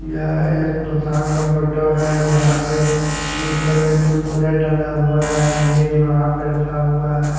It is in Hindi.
यह एक दुकान का फोटो जहा पे निचे में कुरकुरे टंगा हुआ है लेज वह पे रखा हुआ है।